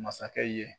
Masakɛ ye